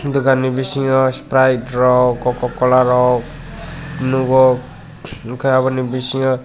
dugan bi bisingo sprite rok kokocola rok nugo omo ni bisingo.